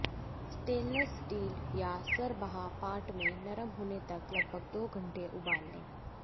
stainless steel या सरबॉह pot में नरम होने तक लगभग दो घंटे उबाल लें